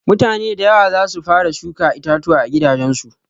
Mutane da yawa zasu fara shuka itatuwa a gidajen su.